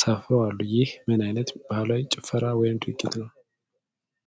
ሰፍረው አሉ፣ ይህ ምን አይነት ባህላዊ ጭፈራ ወይም ድርጊት ነው?